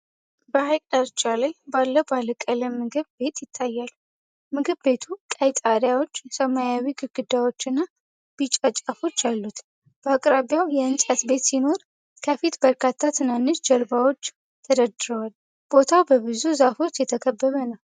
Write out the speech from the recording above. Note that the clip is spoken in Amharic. በሐይቅ ዳርቻ ላይ ባለ ባለቀለም ምግብ ቤት ይታያል። ምግብ ቤቱ ቀይ ጣሪያዎች፣ ሰማያዊ ግድግዳዎችና ቢጫ ጫፎች አሉት። በአቅራቢያው የእንጨት ቤት ሲኖር፣ ከፊት በርካታ ትናንሽ ጀልባዎች ተደርድረዋል። ቦታው በብዙ ዛፎች የተከበበ ነው።